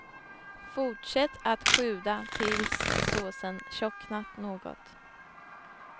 Fortsätt att sjuda tills såsen tjocknat något.